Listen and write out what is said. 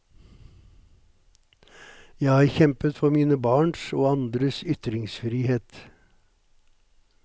Jeg har kjempet for mine barns og andres ytringsfrihet.